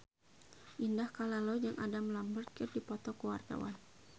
Indah Kalalo jeung Adam Lambert keur dipoto ku wartawan